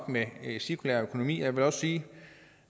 med en cirkulær økonomi og jeg vil også sige